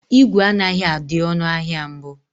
ígwè anaghị adị ọnụ ahịa mbụ.